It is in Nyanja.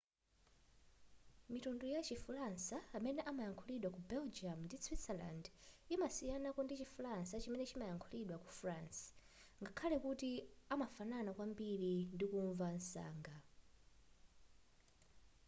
mitundu yachi falansa imene imalankhulidwa ku belgium ndi switzerland imasiyanako ndichi falansa chimene chimalankhulidwa ku france ngakhale kuti amafanana kwambiri ndikumva msanga